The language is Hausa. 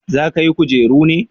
za ka yi kujeru ne?